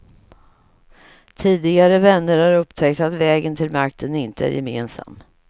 Tidigare vänner har upptäckt att vägen till makten inte är gemensam.